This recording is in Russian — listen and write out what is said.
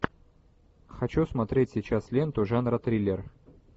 хочу смотреть сейчас ленту жанра триллер